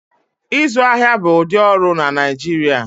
Ịzụ ahịa bụ ụdị ọrụ na Naijiria